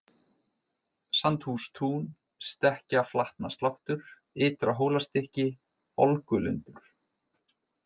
Sandhústún, Stekkjarflatnasláttur, Ytra- Hólastykki, Olgulundur